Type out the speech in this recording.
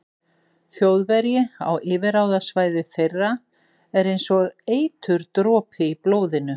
Þjóðverji á yfirráðasvæði þeirra er einsog eiturdropi í blóðinu.